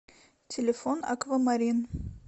телефон аквамарин